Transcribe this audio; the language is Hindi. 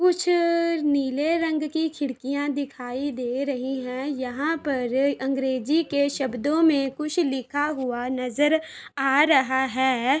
कुछ अ नीले रंग की खिड़कियां दखाई दे रही है। यहाँ पर अंग्रेजी के शब्दों में कुछ लिखा हुआ नजर आ रहा है।